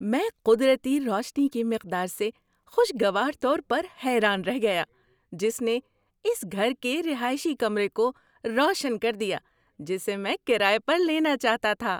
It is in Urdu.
میں قدرتی روشنی کی مقدار سے خوشگوار طور پر حیران رہ گیا جس نے اس گھر کے رہائشی کمرے کو روشن کر دیا جسے میں کرایہ پر لینا چاہتا تھا۔